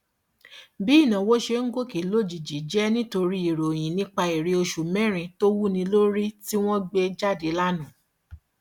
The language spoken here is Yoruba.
bí ìnáwó ṣe ń gòkè lójijì jẹ nítorí ìròyìn nípa èrè oṣù mẹrin tó wúni lórí tí wọn gbé jáde lánàá